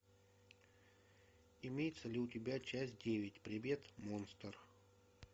имеется ли у тебя часть девять привет монстр